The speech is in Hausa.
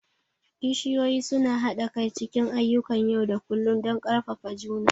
kishiyoyi suna haɗa kai cikin ayyukan yau da kullun don ƙarfafa juna.